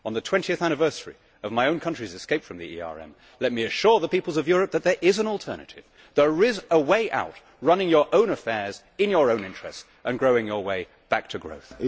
On the 20 th anniversary of my own country's escape from the ERM let me assure the peoples of European that there is an alternative, there is a way out running your own affairs in your own interest and growing your own way back to growth.